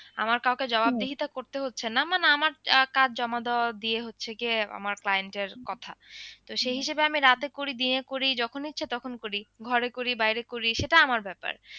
আমার কাউকে জবাবদিহিতা করতে হচ্ছে না মানে আমার আহ কাজ জমা দেওয়ার দিয়ে হচ্ছে গিয়ে আমার client এর কথা তো সেই হিসেবে আমি রাতে করি দিনে করি যখন ইচ্ছে তখন করি ঘরে করি বাইরে করি সেটা আমার ব্যাপার।